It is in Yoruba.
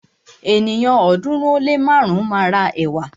Ènìyàn ọ̀ọ́dúnrún ó lé márùn máa ra ẹ̀wà.